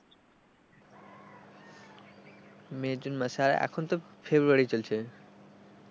মে জুন মাসে আর এখন তো ফেব্রুয়ারি চলছে।